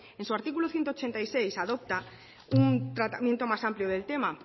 en su artículo ciento ochenta y seis adopta un tratamiento más amplio del tema